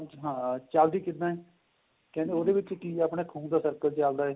ਆਂ ਚੱਲਦੀ ਕਿੱਦਾ ਏ ਕਹਿੰਦੇ ਉਹਦੇ ਵਿੱਚ ਕਿ ਏਹ ਆਪਣੇਂ ਖੂਨ ਦਾ circulation ਚੱਲਦਾ